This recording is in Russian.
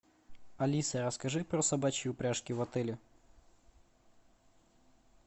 алиса расскажи про собачьи упряжки в отеле